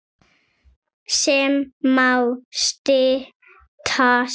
sem má stytta sem